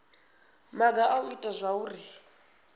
maga a u ita zwauri